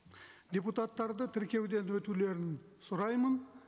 депутаттарды тіркеуден өтулерін сұраймын